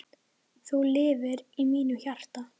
Þú lifir í mínu hjarta.